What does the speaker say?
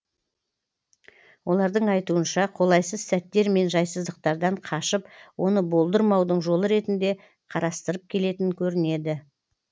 олардың айтуынша қолайсыз сәттер мен жайсыздықтардан қашып оны болдырмаудың жолы ретінде қарастырып келетін көрінеді